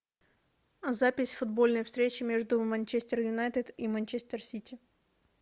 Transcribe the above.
запись футбольной встречи между манчестер юнайтед и манчестер сити